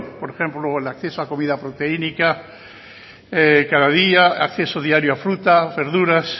por ejemplo el acceso a comida proteínica cada día acceso diario a fruta verduras